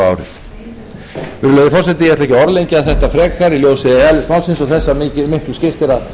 árið virðulegi forseti ég ætla ekki að orðlengja þetta frekar í ljósi eðlis málsins og þess að